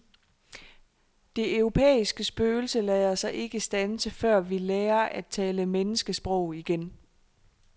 Det europæiske spøgelse lader sig ikke standse, før vi lærer at tale menneskesprog igen.